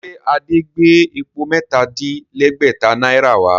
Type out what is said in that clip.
Ṣe Adé gbé epo mẹ́ta-dín-lẹ́gbẹ̀tá náírà wá?